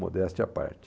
Modéstia à parte.